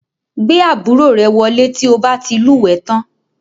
Gbé àbúrò rẹ wọlé tí o bá ti lúwẹ̀ẹ́ tán